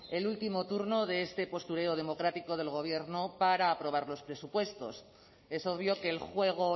el último turno de este postureo democrático del gobierno para aprobar los presupuestos eso obvio que el juego